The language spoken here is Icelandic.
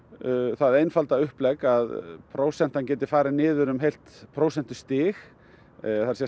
það einfalda upplegg að prósentan geti farið niður um heilt prósentustig það er